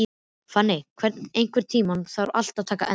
Fanný, einhvern tímann þarf allt að taka enda.